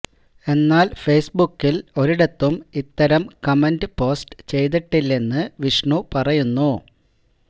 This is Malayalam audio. എന്നാല് ഫെയ്സ്ബുക്കില് ഒരിടത്തും ഇത്തരം കമന്റ് പോസ്റ്റ് ചെയ്തിട്ടില്ലെന്ന് വിഷ്ണു പറയുന്നു